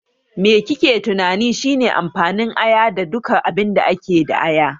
Me kike tunani shine amfanin aya da duka abinda ake da aya?